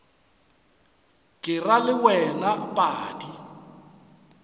ke ra le wena padi